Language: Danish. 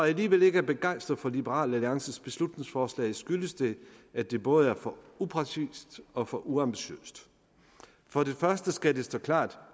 alligevel ikke er begejstret for liberal alliances beslutningsforslag skyldes det at det både er for upræcist og for uambitiøst for det første skal det stå klart